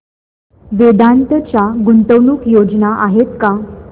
वेदांत च्या गुंतवणूक योजना आहेत का